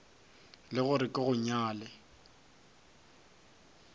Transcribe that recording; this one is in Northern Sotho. le gore ke go nyale